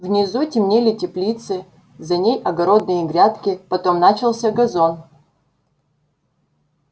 внизу темнели теплицы за ней огородные грядки потом начался газон